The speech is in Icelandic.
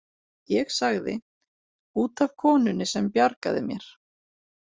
Ég sagði: út af konunni sem bjargaði mér.